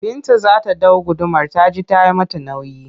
Binta za ta ɗau gudumar ta ji ta yi mata nauyi